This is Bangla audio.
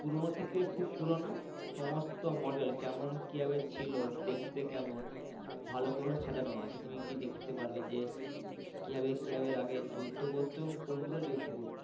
পুরনো থেকে খুব পুরানো সমস্ত model কেমন কিভাবে ছিল দেখতে কেমন ভালো করে সাজানো আছে তুমি গিয়ে দেখতে পারবে যে কিভাবে কিভাবে আগে যুদ্ধ করত এবং কোন গুলোতে যুদ্ধ করতো,